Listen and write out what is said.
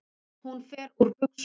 Hún fer úr buxunum.